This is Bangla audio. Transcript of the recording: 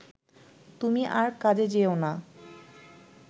তুমি আর কাজে যেয়ো না